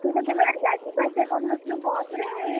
ତୁ ତ କେବେ ଯିବା ଆସିବା କରିନଥିଲୁ ବସ ରେ?